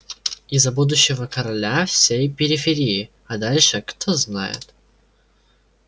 и за будущего короля всей периферии а дальше кто знает